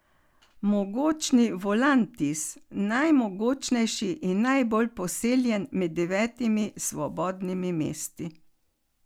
Mogočni Volantis, najmogočnejši in najbolj poseljen med devetimi svobodnimi mesti.